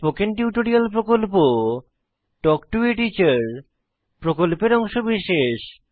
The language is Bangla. spoken tutorial talk to a teacher প্রকল্পের অংশবিশেষ